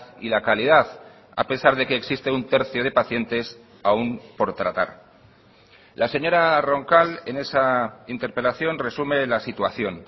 y la calidad a pesar de que existe un tercio de pacientes aún por tratar la señora roncal en esa interpelación resume la situación